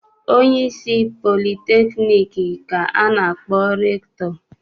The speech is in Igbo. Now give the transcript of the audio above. Onyeisi politekniik ka a na-akpọ rektọ.